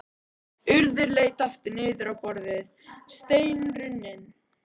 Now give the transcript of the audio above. Urður leit aftur niður á borðið, steinrunnin.